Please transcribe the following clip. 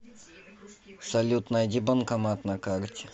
салют найди банкомат на карте